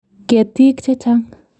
Ketiik che chang'.